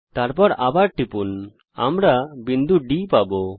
তারপর আবার টিপুন আমরা বিন্দু D পাবো